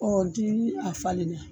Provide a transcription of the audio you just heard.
n di a falen la